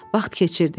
Vaxt keçirdi.